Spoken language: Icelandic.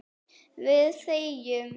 Við þegjum.